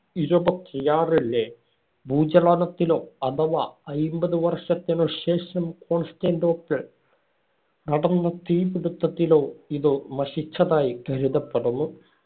ഇരുപത്തിയാറിലെ ഭൂചലനത്തിലോ അഥവാ അയ്മ്പത് വർഷത്തിനു ശേഷം കോൺസ്റ്റാന്‍റിനോപ്പിള്‍ നടന്ന തീപ്പിടുത്തത്തിലോ ഇതു നശിച്ചതായി കരുതപ്പെടുന്നു.